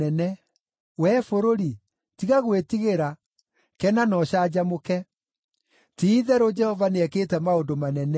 Wee bũrũri, tiga gwĩtigĩra; kena na ũcanjamũke. Ti-itherũ Jehova nĩekĩte maũndũ manene.